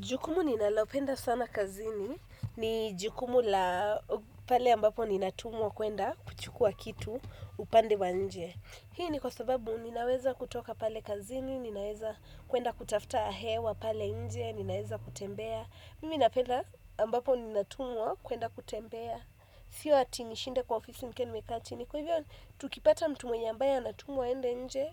Jukumu ninalopenda sana kazini ni jukumu la pale ambapo ninatumwa kuenda kuchukua kitu upande wa nje. Hii ni kwa sababu ninaweza kutoka pale kazini, ninaweza kuenda kutafuta hewa pale nje, ninaweza kutembea. Mimi napenda ambapo ninatumwa kuenda kutembea. Sio hati nishinde kwa ofisi nikiwa nimekaa chini kwa hivyo tukipata mtu mwenye ambaye anatumwa aende nje,